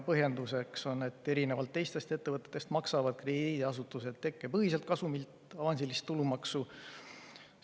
Põhjenduseks oli, et erinevalt teistest ettevõtetest maksavad krediidiasutused tekkepõhiselt kasumilt avansilist tulumaksu.